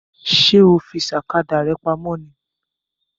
Ṣé ó fi sakada rẹ pamọ́ ni?